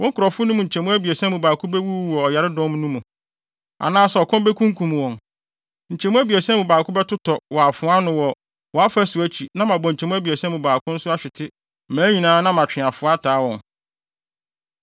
Wo nkurɔfo no mu nkyɛmu abiɛsa mu baako bewuwu wɔ ɔyaredɔm no mu, anaasɛ ɔkɔm bekunkum wɔn; nkyɛmu abiɛsa mu baako bɛtotɔ wɔ afoa ano wɔ wʼafasu akyi na mabɔ nkyɛmu abiɛsa mu baako nso ahwete mmaa nyinaa na matwe afoa ataa wɔn.